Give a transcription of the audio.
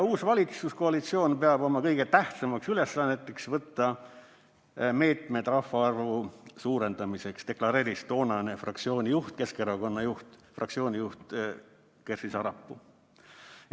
Uus valitsuskoalitsioon peab oma kõige tähtsamaks ülesandeks võtta meetmed rahvaarvu suurendamiseks, deklareeris toonane fraktsiooni juht, Keskerakonna fraktsiooni juht Kersti Sarapuu.